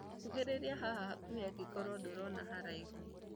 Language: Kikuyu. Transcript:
kuhĩrĩria haha hakuhĩ angĩkorwo ndũrona wĩ kũraihu